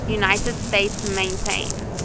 united states maintains